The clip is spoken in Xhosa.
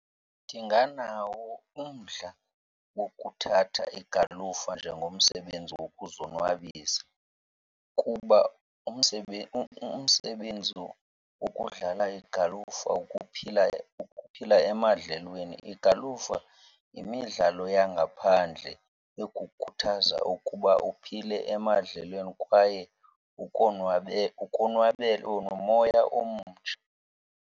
Ndinganawo umdla wokuthatha igalufa njengomsebenzi wokuzonwabisa kuba umsebenzi wokudlala igalufu ukuphila ukuphila emadlelweni. Igalufa yimidlalo yangaphandle ekukhuthaza ukuba uphile emadlelweni kwaye ukonwabele nomoya omtsha.